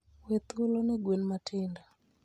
We thuolo ne gwen matindo.